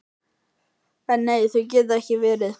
En nei, það getur ekki verið.